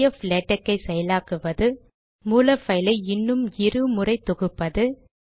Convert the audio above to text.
PDF LaTeX ஐ செயலாக்குவது மூல பைலை இன்னும் இரு முறை தொகுப்பது